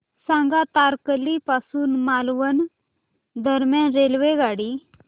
सांगा तारकर्ली पासून मालवण दरम्यान रेल्वेगाडी